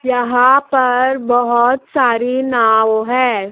यहां पर बहोत सारी नाव है।